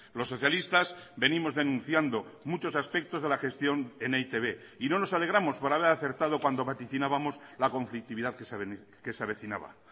los socialistas venimos denunciando muchos aspectos de la gestión en e i te be y no nos alegramos por haber acertado cuando vaticinábamos la conflictividad que se avecinaba